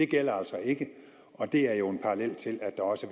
gælder altså ikke og det er jo en parallel til at der også